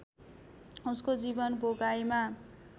उसको जीवन भोगाइमा